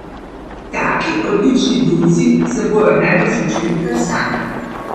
Taki, odlični bruci se bojo najbrž učili kar sami.